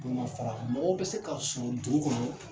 Bolomafara mɔgɔw bɛ se ka sɔrɔ dugu kɔnɔ